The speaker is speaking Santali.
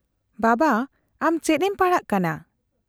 -ᱵᱟᱵᱟ, ᱟᱢ ᱪᱮᱫ ᱮᱢ ᱯᱟᱲᱦᱟᱜ ᱠᱟᱱᱟ ?